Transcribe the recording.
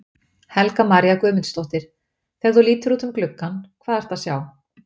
Helga María Guðmundsdóttir: Þegar þú lítur út um gluggann, hvað ertu að sjá?